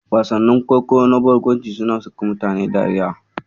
Wasannin kwaikwayo na barkwanci suna saka mutane dariya.